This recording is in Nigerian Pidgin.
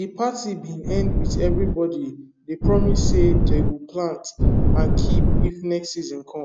de party bin end with everybody dey promise say dey go plant and keep if next season come